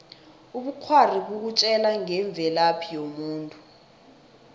ubukghwari bukutjela ngemvelaphi yomuntu